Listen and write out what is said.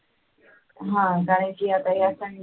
हा कारण की आता या Sunday